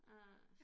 Øh